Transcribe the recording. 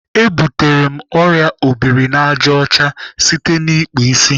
E butere m ọrịa obirinajọcha site n'ịkpụ isi